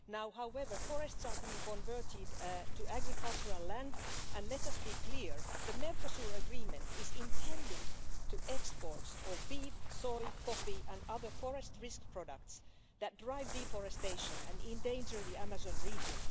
However, forests are being converted to agricultural land and let us be clear the Mercosur agreement is intended for exports of beef, soy, coffee and other forest risk products that drive deforestation and endanger the Amazon region.